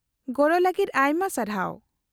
-ᱜᱚᱲᱚ ᱞᱟᱹᱜᱤᱫ ᱟᱭᱢᱟ ᱥᱟᱨᱦᱟᱣ ᱾